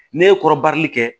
Ne ye kɔrɔbarili kɛ